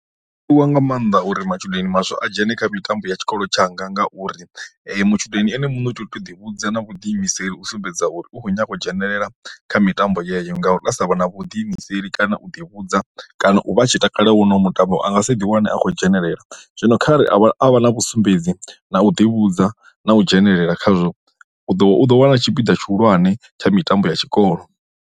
U wa nga maanḓa uri matshudeni maswa a dzhene kha mitambo ya tshikolo tshanga ngauri matshudeni ene muṋe u tea u toḓi vhudza na vhudiimiseli u sumbedza uri u khou nyanga u dzhenelela kha mitambo yeyo, ngauri ha sa vha na vhuḓiimiseli kana u ḓi ni vhudza kana u vha a tshi takala wo no mutambo anga si ḓi wane a khou dzhenelela, zwino kharali a vha a vha na vhu sumbedzi na u ḓi vhudza na u dzhenelela khazwo u ḓo vha u ḓo wana tshipiḓa tshihulwane tsha mitambo ya tshikolo.